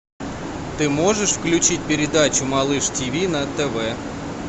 ты можешь включить передачу малыш тиви на тв